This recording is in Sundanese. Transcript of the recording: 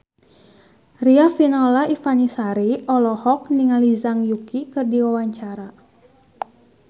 Riafinola Ifani Sari olohok ningali Zhang Yuqi keur diwawancara